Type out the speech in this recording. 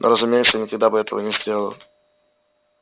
ну разумеется я никогда бы этого не сделала